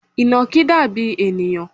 Ìnàkí dàbí ènìyàn